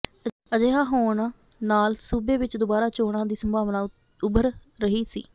ਅਜਿਹਾ ਹੋਣ ਨਾਲ ਸੂਬੇ ਵਿਚ ਦੁਬਾਰਾ ਚੋਣਾਂ ਦੀ ਸੰਭਾਵਨਾ ਉੱਭਰ ਰਹੀ ਸੀ